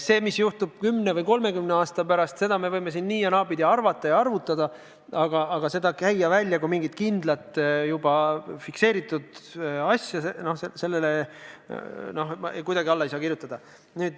Seda, mis juhtub kümne või 30 aasta pärast, me võime nii- ja naapidi arvutada, aga käia see välja kui mingi kindel juba fikseeritud asi – no sellele ma ei saa kuidagi alla kirjutada.